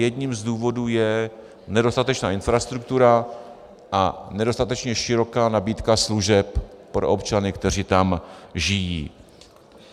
Jedním z důvodů je nedostatečná infrastruktura a nedostatečně široká nabídka služeb pro občany, kteří tam žijí.